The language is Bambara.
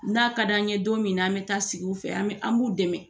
N'a ka di an ɲɛ don min na, an bɛ taa sigi u fɛ, an b'u dɛmɛ.